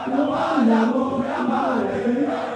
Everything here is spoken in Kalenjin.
nyeren barutik itikab biik